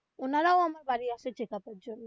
ওনারাও আমার বাড়ি আসে check up এর জন্য.